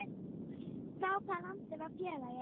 Frá hvaða landi var félagið?